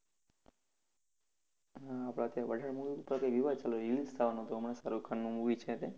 આ અત્યારે પઠાણ ઉપર કૈંક વિવાદ ચાલું, release થાવાનું હતું હમણાં શાહરુખ ખાનનું movie છે તે.